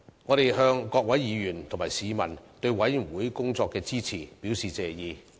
我們向各位議員及市民對委員會工作的支持，表示謝意。